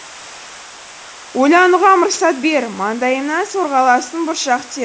ойлануға мұрсат бер маңдайымнан сорғаласын бұршақ тер